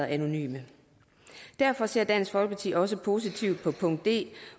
anonymt derfor ser dansk folkeparti også positivt på punkt d